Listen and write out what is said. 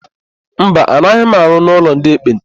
Mba, anaghị m arụ ọrụ n'ụlọ ndị ekpenta.